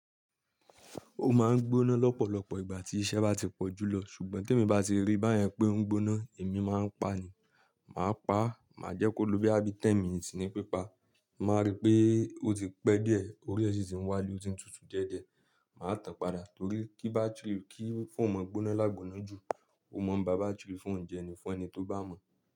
Ó máa ń gbóná lọ́pọ̀lọpọ̀ ìgbà tí iṣẹ́ bá ti pọ̀jù lọ, ṣùgbọ́n tí èmi bá ti rí báyẹn pé o ń gbóná, èmi máa ń pa a ni. Màá pa á, màá jẹ́ kó ló boyà bí ten minutes ni pípa. Màá rí pé ó ti pẹ́ díẹ̀, orí ẹ ṣi tì ń wá le o tí ń tutù diẹ́ diẹ́, màá tàn padà torí kí bátírì kí fóònù máa gbóná lágbóná jù, o mọ̀ ń bà bátírì fóònù jẹ ní fún ẹni tó bá mọ̀